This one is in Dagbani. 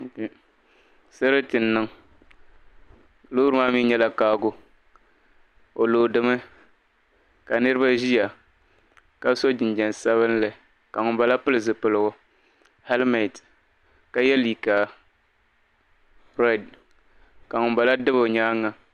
Sarati n niŋ loori maa mii nyɛla kaago o loodimi ka Niraba ʒiya ka so jinjɛm sabinli ka ŋunbala pili zipilligu helment ka yɛ liiga brown ka ŋun bala dabi o nyaanga